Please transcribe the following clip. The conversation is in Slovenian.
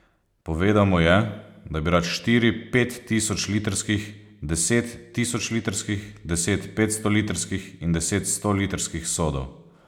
Povedal mu je, da bi rad štiri pettisočlitrskih, deset tisočlitrskih, deset petstolitrskih in deset stolitrskih sodov.